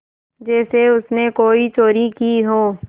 जैसे उसने कोई चोरी की हो